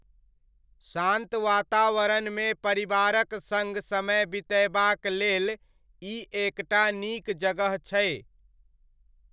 शान्त वातावरणमे परिवारक सङ्ग समय बितयबाक लेल ई एकटा नीक जगह छै।